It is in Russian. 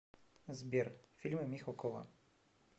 сбер фильмы михалкова